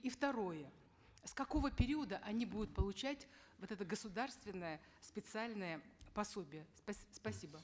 и второе с какого периода они будут получать вот это государственное специальное пособие спасибо